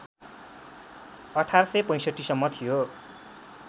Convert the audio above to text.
१८६५ सम्म थियो